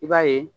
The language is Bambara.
I b'a ye